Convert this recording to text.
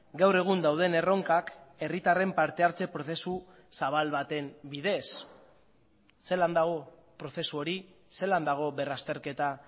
gaur egun dauden erronkak herritarren parte hartze prozesu zabal baten bidez zelan dago prozesu hori zelan dago berrazterketa